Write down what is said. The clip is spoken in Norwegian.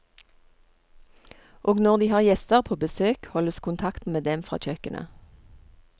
Og når de har gjester på besøk, holdes kontakten med dem fra kjøkkenet.